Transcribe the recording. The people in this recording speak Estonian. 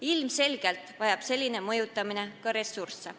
Ilmselgelt vajab selline mõjutamine ka ressursse.